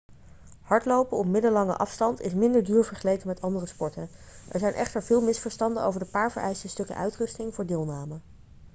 hardlopen op middellange afstand is minder duur vergeleken met andere sporten er zijn echter veel misverstanden over de paar vereiste stukken uitrusting voor deelname